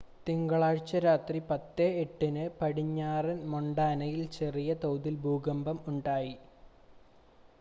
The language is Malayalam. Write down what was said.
തിങ്കളാഴ്ച രാത്രി 10:08-ന് പടിഞ്ഞാറൻ മൊണ്ടാനയിൽ ചെറിയ തോതിൽ ഭൂകമ്പം ഉണ്ടായി